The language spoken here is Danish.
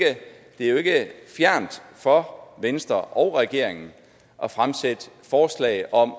fjernt for venstre og regeringen at fremsætte forslag om